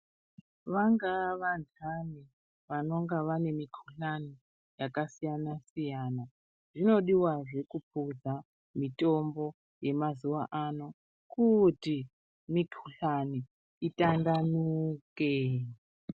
Vangaa vandani vanonga vane mikuhlani yakasiyana siyana zvinodiwazve kukuhla mitombo yemazuwa ano kuti mikuhlani itandanuke .